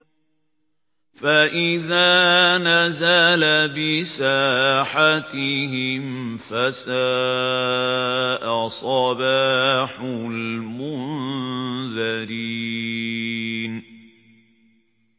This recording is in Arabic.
فَإِذَا نَزَلَ بِسَاحَتِهِمْ فَسَاءَ صَبَاحُ الْمُنذَرِينَ